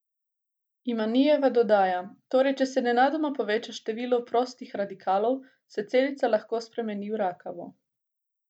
Imanijeva dodaja: "Torej, če se nenadoma poveča število prostih radikalov, se celica lahko spremeni v rakavo.